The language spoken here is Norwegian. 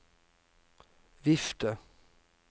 vifte